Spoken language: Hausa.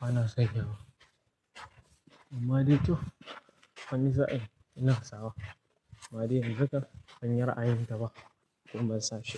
ba na saidawa. Amma dai to amfaani za a yi ina sawa. Amma dai haka banyi ra'ayin ta ba kuma ban sashi ba.